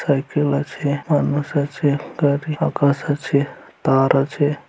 Cycle আছে মানুষ আছে আকাশ আছে তার আছে।